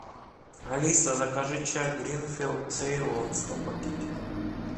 алиса закажи чай гринфилд цейлон сто пакетиков